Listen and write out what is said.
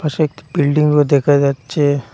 পাশে একটি বিল্ডিংও দেখা যাচ্ছে।